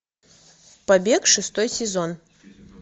побег шестой сезон